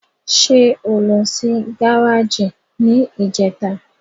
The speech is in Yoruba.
Ṣé o lọ sí gáràjì ní ìjẹta?